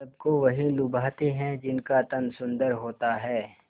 सबको वही लुभाते हैं जिनका तन सुंदर होता है